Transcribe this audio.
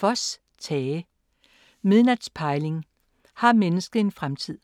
Voss, Tage: Midnats pejling: har mennesket en fremtid?